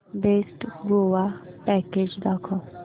best Goa package दाखव